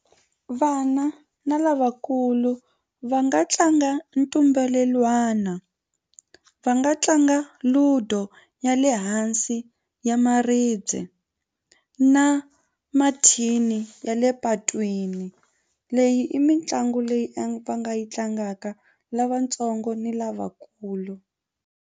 Vana na lavakulu va nga tlanga ntumbelelwana va nga tlanga ludo ya le hansi ya maribye na mathini ya le patwini leyi i mitlangu leyi a va nga yi tlangaka lavatsongo ni lavakulu.